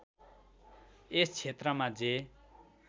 यस क्षेत्रमा जे